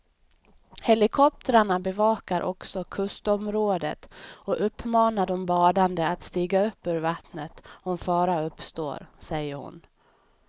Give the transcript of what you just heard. Helikoptrarna bevakar också kustområdet och uppmanar de badande att stiga upp ur vattnet om fara uppstår, säger hon.